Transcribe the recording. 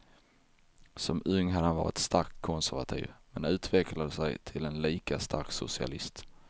Som ung hade han varit starkt konservativ men utvecklade sig till en lika stark socialist.